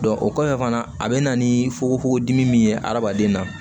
o kɔfɛ fana a bɛ na ni fugofugodimi min ye adamaden na